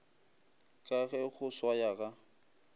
ka ge go swaya ga